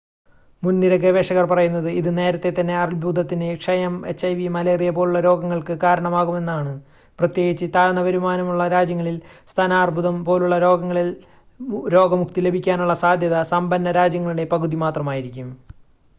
മുൻനിര ഗവേഷകർ പറയുന്നത് ഇത് നേരത്തേതന്നെ അർബുദത്തിന് ക്ഷയം എച്ച്ഐവി മലേറിയ പോലുള്ള രോഗങ്ങൾക്ക് കാരണമാകുമെന്നാണ് പ്രത്യേകിച്ച് താഴ്ന്ന വരുമാനമുള്ള രാജ്യങ്ങളിൽ സ്തനാർബുദം പോലുള്ള രോഗങ്ങളിൽ രോഗമുക്തി ലഭിക്കാനുള്ള സാദ്ധ്യത സമ്പന്ന രാജ്യങ്ങളുടെ പകുതി മാത്രമായിരിക്കും